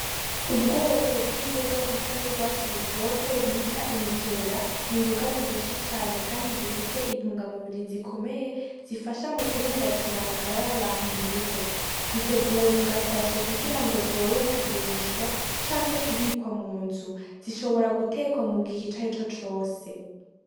Ubwoko bw'imboga zisa n'ugwatsi rutoto bita imikerera, n'imboga ziryoshe cane kandi zifise intungamubiri zikomeye, zifasha mu kubumbatira amagara y'abantu mu rugo, ziteguwe mu gasashe kugira ngo zorohe kugurishwa canke kubikwa mu nzu, zishobora gutekwa mu gihe icari co cose.